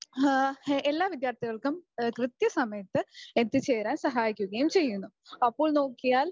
ങെഹ് എല്ലാ വിദ്യാർഥികൾക്കും കൃത്യ സമയത്ത് എത്തിച്ചേരാൻ സഹായിക്കുകയും ചെയ്യുന്നു. അപ്പോള് നോക്കിയാൽ